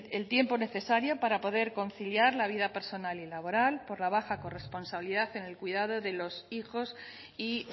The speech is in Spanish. el tiempo necesario para poder conciliar la vida personal y laboral por la baja corresponsabilidad en el cuidado de los hijos y